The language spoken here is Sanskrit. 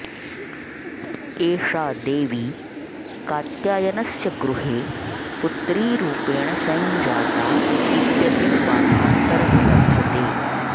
एषा देवी कात्यायनस्य गृहे पुत्रीरुपेण सञ्जाता इत्यपि पाठान्तरः लभ्यते